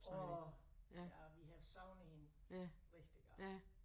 Åh ja og vi havde savnet hende rigtig godt